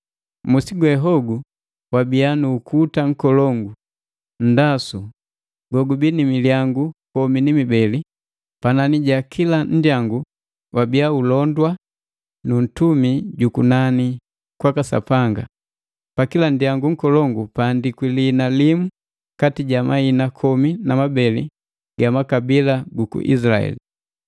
Musi gwe hogu wabia nu ukuta nkolongu, nndasu go gubii ni milyangu komi ni ibeli, panani ja kila nndyangu wabia ulondwa nu ntumi jumu jukunani kwaka Sapanga. Pakila nndyangu nkolongu kwaandikwi liina limu kati ja mahina komi na mabeli ga makabila guku Izilaeli.